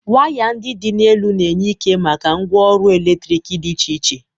Waya ndị dị n'elu na-enye ike maka ngwaọrụ eletrik dị iche iche.